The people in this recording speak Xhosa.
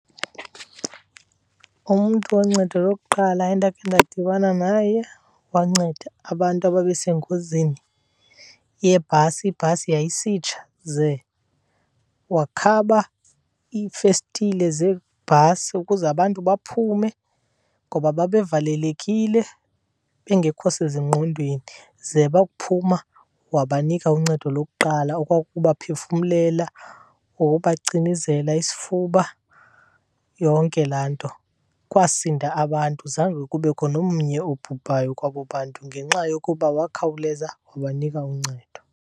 Umntu woncedo lokuqala endakhe ndadibana naye wanceda abantu ababesengozini yebhasi. Ibhasi yayisitsha ze wakhaba iifestile zebhasi ukuze abantu baphume ngoba babevalelekile bengekho sezingqondweni. Ze bakuphuma wabanika uncedo lokuqala okwakukubaphefumlela ngokubacinezela isifuba, yonke laa nto. Kwasinda abantu zange kubekho nomnye obhubhayo kwabo bantu ngenxa yokuba wakhawuleza wabanika uncedo.